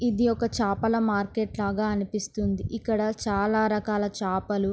ఇది ఒక చేపల మార్కెట్ లాగా అనిపిస్తున్నది ఇక్కడ చాలా రకలా చేపలు